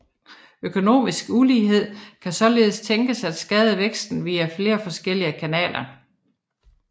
Økonomisk ulighed kan således tænkes at skade væksten via flere forskellige kanaler